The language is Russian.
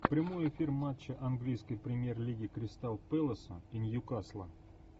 прямой эфир матча английской премьер лиги кристал пэласа и ньюкасла